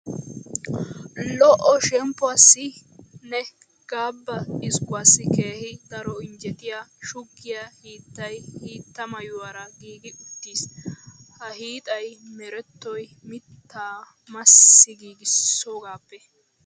Lo"o shemppuwassi nne gabba xiskkuwassi keehi daro injjetiya shuggiya hiittay hitta maayuwara giigi uttiis. Ha hiixay merettoy mittaa massi giigissoogaappe.